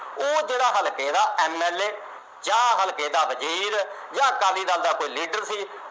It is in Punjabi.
ਉਹ ਜਿਹੜਾ ਹਲਕੇ ਦਾ MLA ਜਾਂ ਹਲਕੇ ਦਾ ਵਜੀਰ ਜਾ ਅਕਾਲੀ ਦਲ ਦਾ ਕੋਈ ਲੀਡਰ ਸੀ